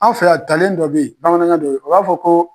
An' fɛ yan talen dɔ be ye bamanankan don, u b'a fɔ ko